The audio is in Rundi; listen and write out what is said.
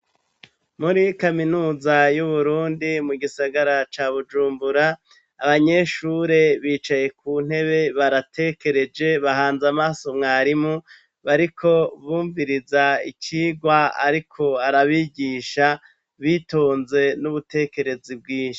Muri kaminuza y'Uburundi mu gisagara ca bujumbura, abanyeshure bicaye ku ntebe baratekereje bahanze amaso mwarimu bariko bumviriza icigwa ariko arabigisha bitonze n'ubutekerezi bwinshi.